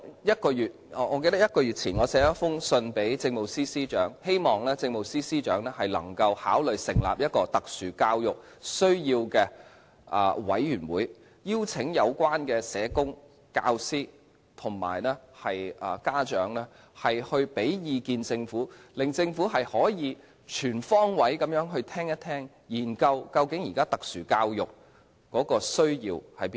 一個月前，我曾致函政務司司長，希望他考慮成立一個特殊教育需要的委員會，邀請有關的社工、教師及家長向政府提供意見，令政府可以全方位聆聽，研究現時特殊教育有何需要。